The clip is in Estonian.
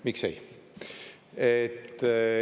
Miks ei?